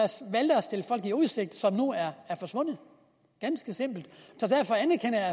valgte at stille folk i udsigt som nu er forsvundet ganske simpelt